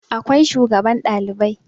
akwai shugaban Ɗalibai